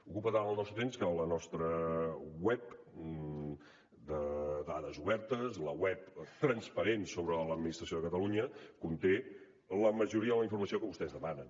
ocupa tant el nostre temps que la nostra web de dades obertes la web transparent sobre l’administració de catalunya conté la majoria de la informació que vostès demanen